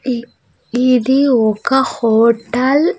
ఇ ఇది ఒక హోటల్ --